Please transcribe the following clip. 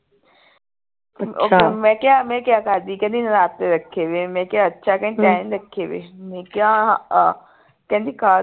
ਮੈਂ ਕਿਹਾ ਮੈਂ ਕਿਆ ਕਰਦੀ ਕਹਿੰਦੀ ਨਰਾਤੇ ਰੱਖੇ ਵਏ ਹੈ ਮੈਂ ਕਿਹਾ ਅੱਛਾ ਕਹਿੰਦੀ ਤੈਂ ਨਹੀਂ ਰੱਖੇ ਵਏ ਮੈਂ ਕਿਹਾ ਕਹਿੰਦੀ ਕਾਹ